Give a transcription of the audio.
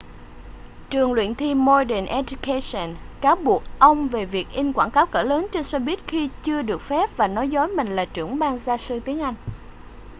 trường luyện thi modern education cáo buộc ông về việc in quảng cáo cỡ lớn trên xe buýt khi chưa được phép và nói dối mình là trưởng ban gia sư tiếng anh